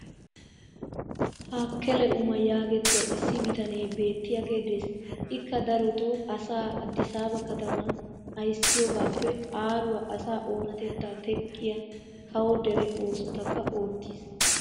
taakkele umaa yaagettiya issi bitanee beettiyaagee des. ikka darotoo asaa addisaaba kattaman ayssiyoogaappe aaruwa asaa oonatettaa teqqiya kawo dere oosotakka oottiis.